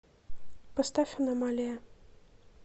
поставь аномалия